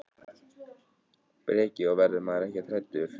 Breki: Og verður maður ekkert hræddur þegar maður fer svona hátt upp í loft?